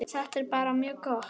Þetta er bara mjög gott.